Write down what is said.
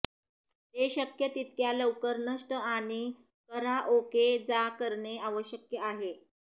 ते शक्य तितक्या लवकर नष्ट आणि कराओके जा करणे आवश्यक आहे